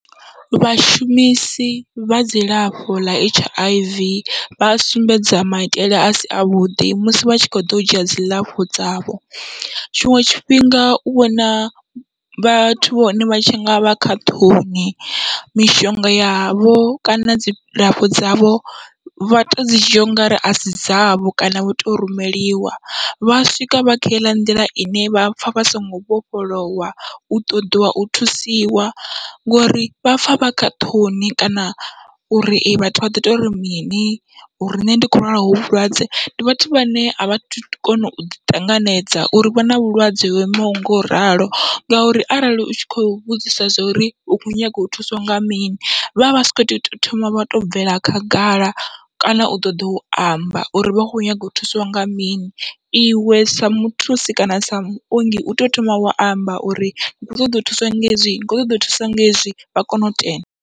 Vhashumisi vha dzilafho ḽa H I V vha sumbedza maitele asi avhuḓi musi vha tshi kho ḓo u dzhia dziḽafho dzavho, tshiṅwe tshifhinga u vhona vhathu vhone vha tshi ngavha kha ṱhoni mishonga yavho kana dzilafho dzavho vha to dzi dzhia ungari asi dzavho kana vha to rumeliwa vha swika vha kha heiḽa nḓila ine vhapfha vha songo vhofholowa u ṱoḓiwa u thusiwa, ngori vhapfha vha kha ṱhoni kana uri vhathu vha ḓo tori mini uri nṋe ndi kho lwala hovhu vhulwadze ndi vhathu vhane avhathu kona u ṱanganedza uri vha na vhulwadze ho imaho ngoralo. Ngauri arali utshi khou vhudzisa zwa uri u kho nyaga u thuswa nga mini, vhavha vhasa kho to thoma vha to bvela khagala kana u ṱoḓa u amba uri vha kho nyaga u thusiwa nga mini, iwe sa muthusi kana sa muongi u tea u thoma wa amba uri ni kho ṱoḓa u thuswa nga hezwi ni kho ṱoḓa u thuswa nga hezwi vha kone u tenda.